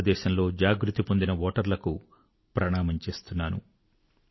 భారతదేశంలో జాగృతి పొందిన ఓటర్లకు ప్రణామం చేస్తున్నాను